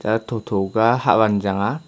lah tho tho ka Hatvan chang aa.